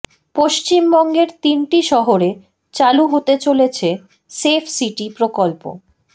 পশ্চিমবঙ্গের তিনটি শহরে চালু হতে চলেছে সেফ সিটি প্রকল্প